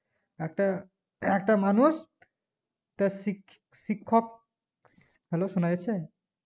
একটা মানুষ তার শিখশিক্ষক hello সোনা যাচ্ছে